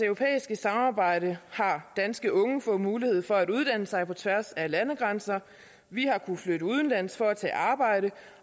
samarbejde har danske unge fået mulighed for at uddanne sig på tværs af landegrænser vi har kunnet flytte udenlands for at tage arbejde